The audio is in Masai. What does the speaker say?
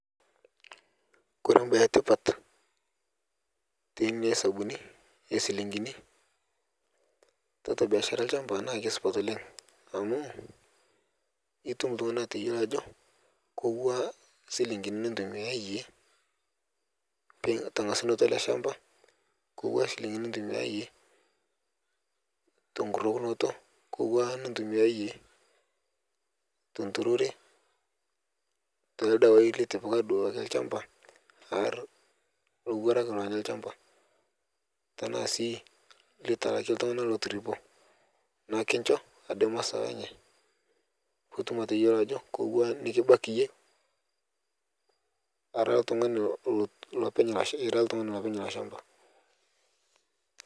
Ore mbaa etipat teina hesabuni oo njilingini tiatua biashara olchamba naa kisupat oleng amu etum entokitin niyioloajo kewua njilingini nintumia eyie pee etangasua ele shamba kebaa njilingini nintumia eyie tenkurokinoto kebaa nintumia eyie tee nturore kebaa irkeek litipika olchamba AR elowuarak onya olchamba tenaa sii etalaa iltung'ana kotoripo naa ekinjoo aja masawa enye pee eyiolou Ajo kaja nikibaiki eyie era oltung'ani olopeny elo shamba